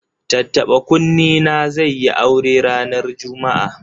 Tattaɓa-kunne na zai yi aure ranar Juma'a.